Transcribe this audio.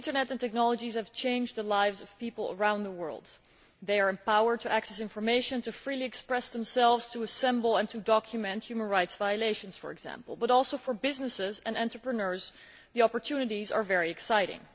The internet and technologies have changed people's lives around the world, empowering them to access information, to express themselves freely, to assemble and to document human rights violations, for example and for businesses and entrepreneurs, too, the opportunities are very exciting.